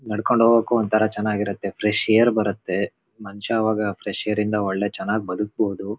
ನಡ್ಕೊಂಡ್ ಹೊಗೊಕು ಒಂತರಾ ಚೆನ್ನಾಗ್ ಇರುತ್ತೆ. ಫ್ರೆಶ್ ಏರ್ ಬರುತ್ತೆ ಮನಷಾ ಅವಾಗ ಫ್ರೆಶ್ ಏರ್ ಇಂದ ಒಳ್ಳೆ ಚೆನ್ನಾಗ್ ಬದುಕ್ಬೋದು.